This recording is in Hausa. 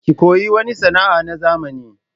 Ki koyi wani sana'a na zamani!